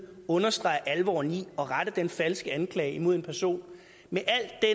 understreger alvoren i at rette en falsk anklage mod en person med